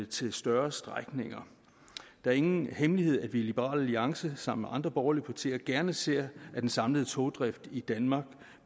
til større strækninger det er ingen hemmelighed at vi i liberal alliance sammen med andre borgerlige partier gerne ser at den samlede togdrift i danmark